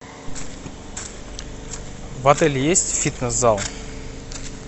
в отеле есть фитнес зал